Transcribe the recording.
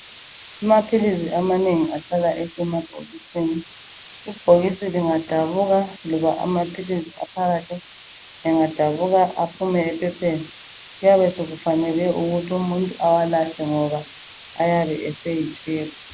Amaphilizi amanengi ahlala esemabhokisini . Ibhokisi lingadabuka loba amaphilisi aphakathi engadabuka aphumele ephepheni .kuyabe sekufanele ukuthi umuntu awalahle ngoba ayabe eseyitshefu.